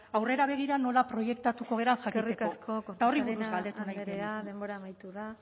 aurrera begira nola proiektatuko garen jakiteko eskerrik asko kortajarena andrea eta horri buruz galdetu nahiko denbora amaitu da